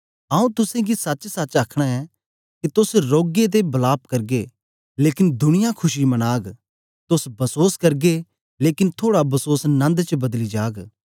आऊँ तुसेंगी सचसच आखना ऐं के तोस रौगे ते वलाप करगे लेकन दुनिया खुशी मनाग तोस बसोस करगे लेकन थुआड़ा बसोंस नन्द च बदली जाग